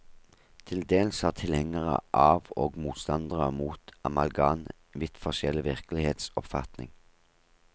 Til dels har tilhengere av og motstandere mot amalgam vidt forskjellig virkelighetsoppfatning.